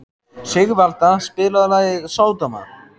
Sigvalda, spilaðu lagið „Sódóma“.